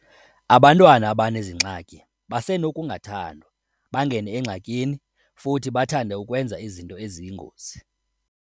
Abantwana abanezi ngxaki basenokungathandwa, bangene engxakini futhi bathande ukwenza izinto eziyingozi.